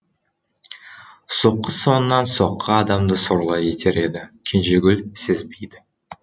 соққы соңынан соққы адамды сорлы етер еді кенжегүл сезбейді